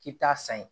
K'i bi taa san yen